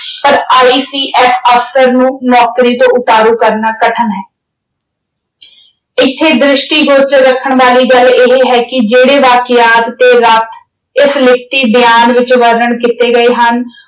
ਪਰ ICS officer ਨੂੰ ਨੌਕਰੀ ਤੋਂ ਉਤਾਰੂ ਕਰਨਾ ਕਠਿਨ ਹੈ। ਇੱਥੇ ਦ੍ਰਿਸ਼ਟੀਗੋਚਰ ਰੱਖਣ ਵਾਲੀ ਗੱਲ ਇਹ ਹੈ ਕਿ ਜਿਹੜੇ ਤੱਥ ਤੇ ਵਾਕਿਆਤ ਇਸ ਲਿਖਤੀ ਬਿਆਨ ਵਿੱਚ ਵਰਣਨ ਕੀਤੇ ਗਏ ਹਨ,